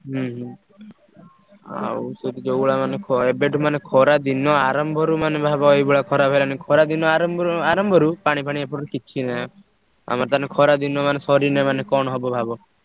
ହୁଁ ହୁଁ ଆଉ ସେତ ଯୋଉଭଳିଆ ମାନେ ~ଖ ଏବେଠୁ ମାନେ ଖରା ଦିନ ଆରମ୍ଭରୁ ମାନେ ଭାବ ଏଇଭଳିଆ ଖରା ହେଲାଣି। ଖରା ଦିନ ଆରମ୍ଭରୁ ଆରମ୍ଭରୁ ପାଣି ଫାଣି ଏପଟୁ କିଛି ନାହିଁ। ଆମର ତାହେଲେ ଖରା ଦିନ ମାନେ ସରିଲେ ମାନେ କଣ ହବ ଭାବ?